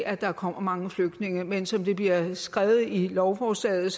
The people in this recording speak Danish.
at der kommer mange flygtninge men som det bliver skrevet i lovforslaget